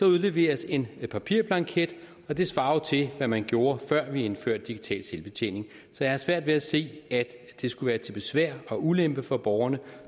udleveres en papirblanket og det svarer jo til hvad man gjorde før vi indførte digital selvbetjening så jeg har svært ved at se at det skulle være til besvær og ulempe for borgerne